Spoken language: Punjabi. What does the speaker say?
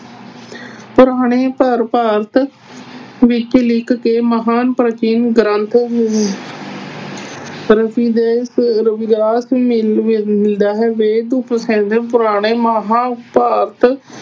ਪੁਰਾਣੇ ਭਾਰਤ ਵਿੱਚ ਲਿਖ ਕੇ ਮਹਾਨ ਪ੍ਰਾਚੀਨ ਗ੍ਰੰਥ ਅਮ ਮਿਲਦਾ ਹੈ ਪੁਰਾਣੇ ਮਹਾਂਭਾਰਤ